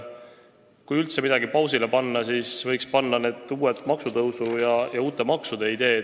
Kui üldse midagi pausile panna, siis võiks pausile panna uute maksutõusude ja maksude ideed.